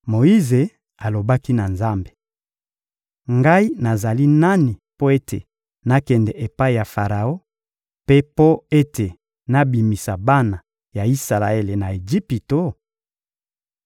Moyize alobaki na Nzambe: — Ngai nazali nani mpo ete nakende epai ya Faraon mpe mpo ete nabimisa bana ya Isalaele na Ejipito?